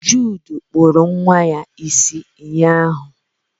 Jude kpuru nwa ya isi ụnyaahụ.